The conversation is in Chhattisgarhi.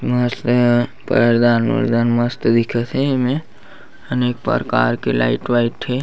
मस्त हे पैरदान वैरदान मस्त दिखत हे एमे अनेक परकार के लाइट वाइट हे।